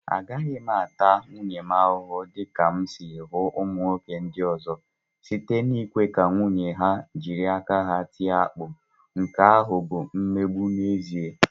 Agaghị m ata nwunye m ahụhụ dị ka m si hụ ụmụ nwoke ndị ọzọ, site n'ikwe ka nwunye ha jiri aka ha tie akpu. Nke ahụ bụ mmegbu n'ezi a